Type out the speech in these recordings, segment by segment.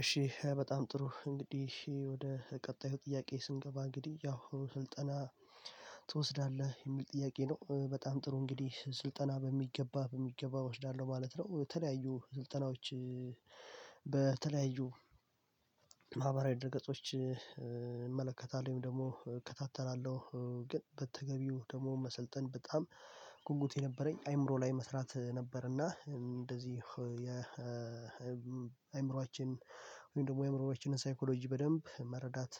እሺ በጣም ጥሩ እንግዲህ ወደ ቀጣዩ ጥያቄ ስንገባ እንግዲህ ያው ስልጠና ትወስዳለህ የሚል ጥያቄ ነው። በጣም ጥሩ እንግዲህ ስልጠና በሚገባ በሚገባ እወስዳለሁ ማለት ነው የተለያዩ ስልጠናዎች በተለያዩ ማህበራዊ ድረገጾች እመለከታለሁ ወይም ደግሞ እከታተላለሁ። ግን በተገቢው ደግሞ መሰልጠን በጣም ጉጉቴ ነበረኝ አእምሮ ላይ መስራት ነበረና እንደዚህ የ የአእምሮአችን ወይም ደግሞ የአእምሮአችንን ሳይኮሎጂ በደንብ መረዳት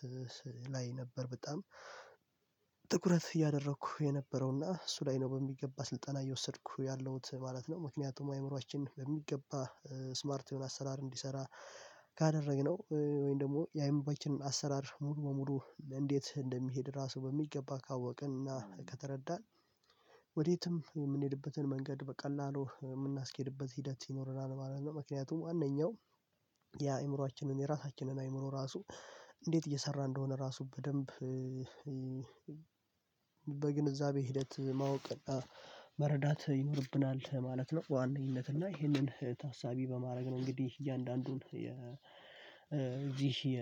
ላይ ነበር በጣም እያደረኩ የነበረው እና እሱ ላይ ነው በሚገባ ስልጠና እየወሰድኩ ያለሁት ማለት ነው። ምክንያቱም አእምሮአችን በሚገባ ስማርት የሆነ አሰራር እንዲሰራ ካደረግነው ወይም ደግሞ የአይምባችንን አሰራር ሙሉ በሙሉ እንዴት እንደሚሄድ ራሱ በሚገባ ካወቅን እና ከተረዳን ወዴትም የምንሄድበትን መንገድ በቀላሉ የምናስኬድበት ሂደት ይኖረናል ማለት ነው። ምክንያቱም አንደኛው የአእምሮአችንን የራሳችንን አእምሮ ራሱ እንዴት እየሰራ እንደሆነ ራሱ በደንብ በግንዛቤ ሂደት ማወቅና መረዳት ይኖርብናል ማለት ነው በዋነኝነት እና ይህንን ታሳቢ በማድረግ ነው እንግዲህ እያንዳንዱን የ ይህ የ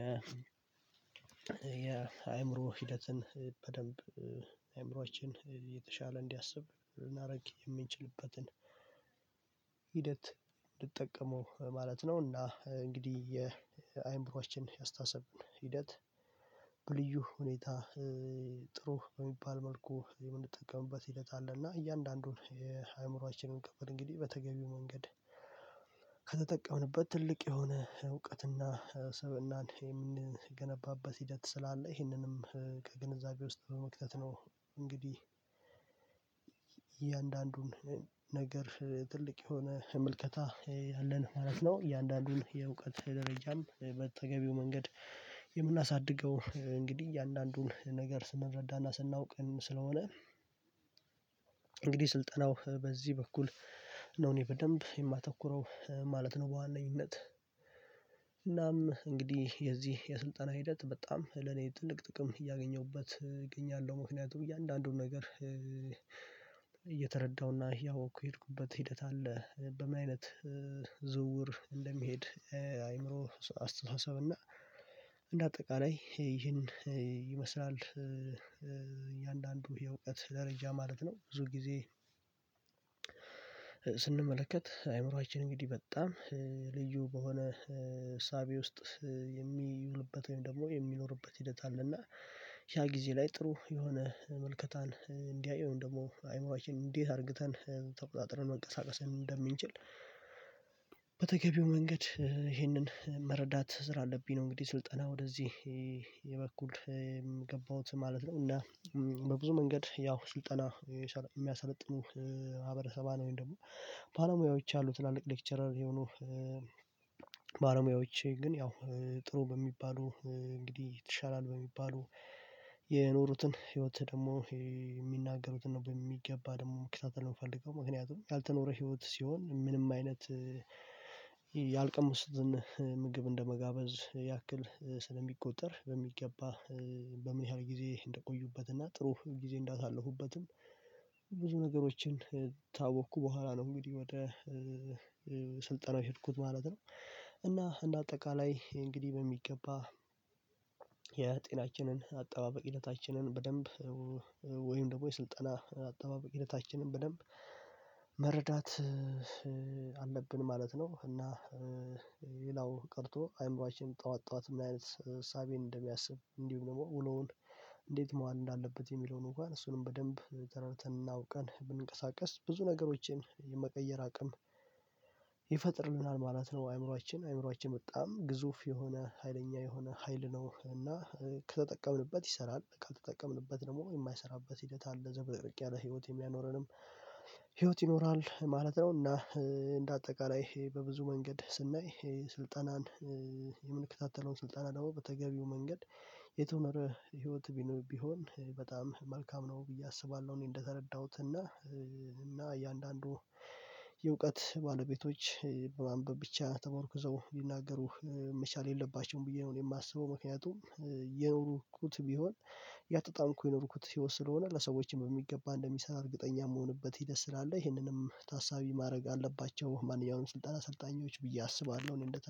የአእምሮ ሂደትን በደንብ አእምሮአችን የተሻለ እንዲያስብ ልናደርግ የምንችልበትን ሂደት እንድጠቀመው ማለት ነው እና እንግዲህ የአእምሮአችን የአስተሳሰብ ሂደት በልዩ ሁኔታ ጥሩ በሚባል መልኩ የምንጠቀምበት ሂደት አለ እና እያንዳንዱን የአእምሮአችንን ክፍል እንግዲህ በተገቢው መንገድ ከተጠቀምንበት ትልቅ የሆነ እውቀትና ስብእናን የምንገነባበት ሂደት ስላለ ይህንንም ከግንዛቤ ውስጥ በመክተት ነው እንግዲህ እያንዳንዱን ነገር ትልቅ የሆነ ምልከታ ያለን ማለት ነው። እያንዳንዱን የእውቀት ደረጃም በተገቢው መንገድ የምናሳድገው እንግዲህ እያንዳንዱን ነገር ስንረዳና ስናውቅም ስለሆነ ስልጠናው በዚህ በኩል ነው እኔ በደንብ የማተኩረው ማለት ነው በዋነኝነት። እናም እንግዲህ የዚህ የስልጠና ሂደት በጣም ለኔ ትልቅ ጥቅም እያገኘሁበት እገኛለሁ። ምክንያቱም እያንዳንዱን ነገር እየተረዳሁና እያወቅኩ የሄድኩበት ሂደት አለ በምን አይነት ዝውውር እንደሚሄድ አእምሮ አስተሳሰብ እና እንደ አጠቃላይ ይህን ይመስላል። የእውቀት ደረጃ ማለት ነው ብዙ ጊዜ ስንመለከት አእምሮአችን እንግዲህ በጣም ልዩ በሆነ እሳቤ ውስጥ የሚውልበት ወይም ደግሞ የሚኖርበት ሂደት አለና ያ ጊዜ ላይ ጥሩ የሆነ ምልከታን እንዲያይ ወይም ደግሞ አእምሮአችን እንዴት አርግተን ተቆጣጥረን መንቀሳቀስ እንደምንችል በተገቢው መንገድ ይሄንን መረዳት ስላለብኝ ነው እንግዲህ ስልጠና ወደዚህ የበኩል ገባሁት ማለት ነው እና በብዙ መንገድ ያው ስልጠና የሚያሰለጥኑ ማህበረሰባን ወይም ደግሞ ባለሙያዎች አሉ ትላልቅ ሌክቸረር የሆኑ ባለሙያዎች። ግን ያው ጥሩ በሚባሉ እንግዲህ ትሻላል በሚባሉ የኖሩትን ህይወት ደግሞ የሚናገሩትን ነው በሚገባ ደግሞ መከታተል የምፈልገው። ምክንያቱም ያልተኖረ ህይወት ሲሆን ምንም አይነት ያልቀመሱትን ምግብ እንደመጋበዝ ያክል ስለሚቆጠር በሚገባ በምን ያህል ጊዜ እንደቆዩበት እና ጥሩ ጊዜ እንዳሳለፉበትም ብዙ ነገሮችን ታወቅኩ በኋላ ነው እንግዲህ ወደ ስልጠና የሄድኩት ማለት ነው። እና እንደ አጠቃላይ እንግዲህ በሚገባ የጤናችንን አጠባበቅ ሂደታንን በደንብ ወይም ደግሞ የስልጠና አጠባበቅ ሂደታችንን በደንብ መረዳት አለብን ማለት ነው። እና ሌላው ቀርቶ አእምሯችን ጠዋት ጠዋት ምን አይነት እሳቤን እንደሚያስብ እንዲሁም ደግሞ ውሎውን እንዴት መዋል እንዳለበት የሚለውን እንኳን እሱንም በደንብ ተረድተንና አውቀን ብንቀሳቀስ ብዙ ነገሮችን የመቀየር አቅም ማለት ነው አእምሮአችን አእምሮአችን በጣም ግዙፍ የሆነ ሀይለኛ የሆነ ሀይል ነው እና ከተጠቀምንበት ይሰራል። ካልተጠቀምንበት ደግሞ የማይሰራበት ሂደት አለ ዘበጠርቄ ያለ ህይወት የሚያኖረንም ይኖራል ማለት ነው። እና እንደ አጠቃላይ በብዙ መንገድ ስናይ ስልጠናን የምንከታተለው ስልጠና ደግሞ በተገቢው መንገድ የተኖረ ህይወት ቢኖ ቢሆን በጣም መልካም ነው ብዬ አስባለሁ እኔ እንደተረዳሁት እና እና እያንዳንዱ የእውቀት ባለቤቶች በማንበብ ብቻ ተመርኩዘው ሊናገሩ መቻል የለባቸውም ብዬ ነው እኔ የማስበው ምክንያቱም ቢሆን እያጣጣምኩ የኖሩኩት ህይወት ስለሆነ ለሰዎችም በሚገባ እንደሚሰራ እርግጠኛ የምሆንበት ሂደት ስላለ ይሄንንም ታሳቢ ማድረግ አለባቸው ማንኛውም ስልጠና አሰልጣኞች ብዬ አስባለሁ እኔ እንደ